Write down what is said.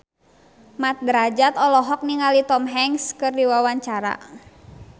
Mat Drajat olohok ningali Tom Hanks keur diwawancara